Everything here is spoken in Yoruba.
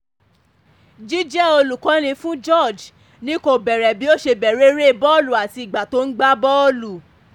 jíjẹ́ olùkọ́ni fún george ni kò bẹ̀rẹ̀ bí ó ṣe bẹ̀rẹ̀ eré bọ́ọ̀lù àti ìgbà tó ń gbá bọ́ọ̀lù